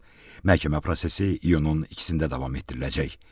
Məhkəmə prosesi iyunun 2-də davam etdiriləcək.